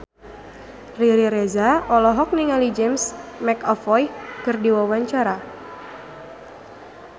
Riri Reza olohok ningali James McAvoy keur diwawancara